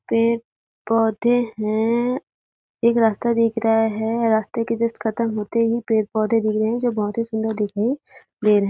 पेड़ -पौधे है एक रास्ता दिख रहा है रास्ते के जस्ट खत्म होते ही पेड़ -पौधे दिख रहे है जो बहुत ही सुंदर दिख रहे हैं ।